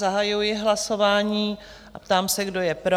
Zahajuji hlasování a ptám se, kdo je pro?